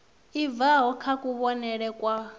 i bvaho kha kuvhonele kwa